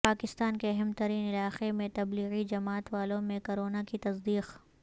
پاکستان کے اہم ترین علاقے میں تبلیغی جماعت والوں میں کرونا کی تصدیق